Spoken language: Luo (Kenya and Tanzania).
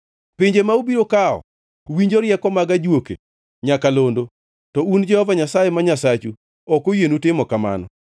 Pinje ma ubiro kawo winjo rieko mag ajuoke nyakalondo, to un Jehova Nyasaye ma Nyasachu ok oyienu timo kamano.